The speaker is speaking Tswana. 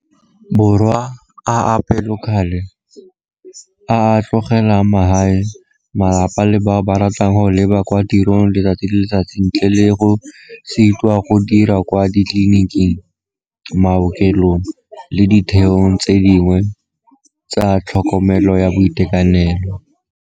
Borwa a a pelokgale, a a tlogelang magae, malapa le bao ba ba ratang go leba kwa tirong letsatsi le letsatsi ntle le go sitwa go dira kwa ditleliniking, maokelong le ditheong tse dingwe tsa tlhokomelo ya boitekanelo.